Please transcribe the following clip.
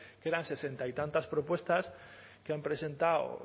que eran sesenta y tantas propuestas que han presentado